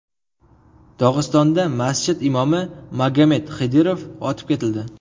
Dog‘istonda masjid imomi Magomed Xidirov otib ketildi.